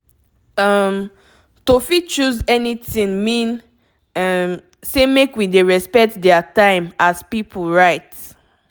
um to fit choose anything mean um say make we dey respect dier time as pipu right